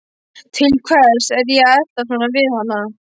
Til hvers er ég að eltast svona við hana?